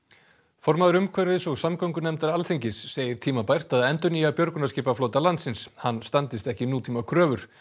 formaður umhverfis og samgöngunefndar Alþingis segir tímabært að endurnýja björgunarskipaflota landsins hann standist ekki nútímakröfur